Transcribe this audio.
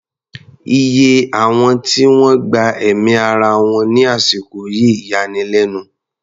Iye àwọn tí wọ́n gba ẹ̀mí ara wọn ní àsìkò yìí yani lẹ́nu.